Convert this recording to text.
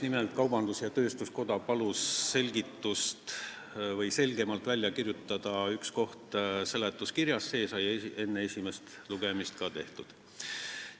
Nimelt, Eesti Kaubandus-Tööstuskoda palus selgemalt välja kirjutada ühe koha seletuskirjas, see sai enne esimest lugemist ka tehtud.